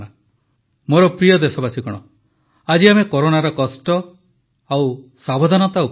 ମୋର ପ୍ରିୟ ଦେଶବାସୀଗଣ ଆଜି ଆମେ କରୋନାର କଷ୍ଟ ଓ ସାବଧାନତା ଉପରେ କଥା ହେଲେ